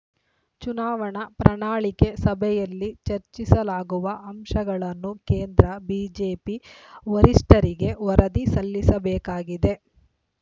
ಚುನಾವಣಾ ಪ್ರಣಾಳಿಕೆ ಸಭೆಯಲ್ಲಿ ಚರ್ಚಿಸಲಾಗುವ ಅಂಶಗಳನ್ನು ಕೇಂದ್ರ ಬಿಜೆಪಿ ವರಿಷ್ಠರಿಗೆ ವರದಿ ಸಲ್ಲಿಸಬೇಕಾಗಿದೆ